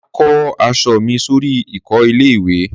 Màá kó aṣọ mi sórí ìkọ́ ilé ìwè